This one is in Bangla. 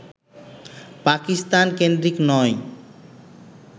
পাকিস্তান-কেন্দ্রিক নয়